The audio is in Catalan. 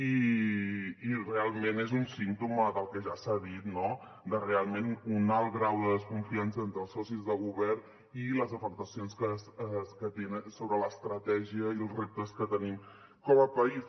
i realment és un símptoma del que ja s’ha dit no de realment un alt grau de desconfiança entre els socis de govern i les afectacions que tenen sobre l’estratègia i els reptes que tenim com a país